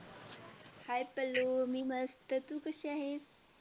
hi Pallu मी मस्त तू कशी आहेस?